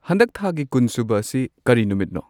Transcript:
ꯍꯟꯗꯛ ꯊꯥꯒꯤ ꯀꯨꯟꯁꯨꯕ ꯑꯁꯤ ꯀꯔꯤ ꯅꯨꯃꯤꯠꯅꯣ